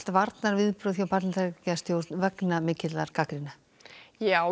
varnarviðbrögð hjá Bandaríkjastjórn vegna mikillar gagnrýni já